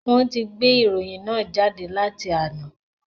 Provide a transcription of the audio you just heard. Wọn ti gbé ìròyìn náà jáde láti àná